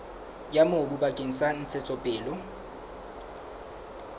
ya mobu bakeng sa ntshetsopele